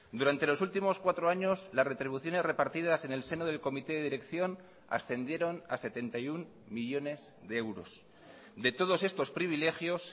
durante los últimos cuatro años las retribuciones repartidas en el seno del comité de dirección ascendieron a setenta y uno millónes de euros de todos estos privilegios